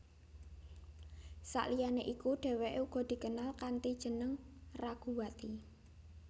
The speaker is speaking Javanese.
Saliyane iku dheweke uga dikenal kanthi jeneng Raguwati